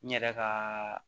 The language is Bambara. N yɛrɛ ka